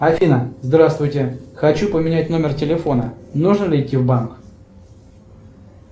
афина здравствуйте хочу поменять номер телефона нужно ли идти в банк